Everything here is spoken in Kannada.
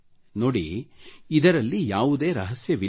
ನೋಡಿ ಇದರಲ್ಲಿ ಯಾವುದೇ ರಹಸ್ಯವಿಲ್ಲ